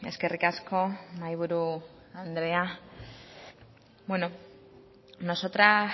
eskerrik asko mahaiburu andrea bueno nosotras